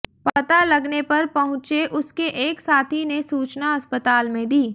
पता लगने पर पहुंचे उसके एक साथी ने सूचना अस्पताल में दी